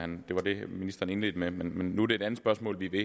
ministeren indledte med men nu er det et andet spørgsmål vi er ved